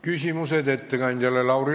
Küsimused ettekandjale!